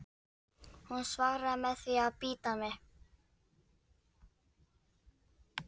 Hún svaraði með því að bíta mig.